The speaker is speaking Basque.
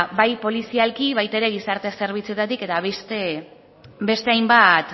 bai polizialki baita ere gizarte zerbitzutatik eta beste hainbat